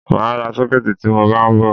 Mà á ra sọ́kẹ̀tì tí mọ bá ń bọ̀.